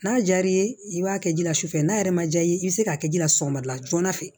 N'a diyar'i ye i b'a kɛ ji la sufɛ n'a yɛrɛ ma ja i ye i bɛ se k'a kɛ ji la sɔgɔmada joona fɛ